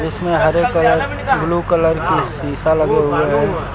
उसमें हरे colour blue colour की शिशा लगे हुए हैं।